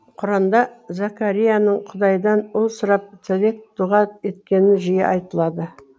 құранда зәкәрияның құдайдан ұл сұрап тілек дұға еткені жиі айтылады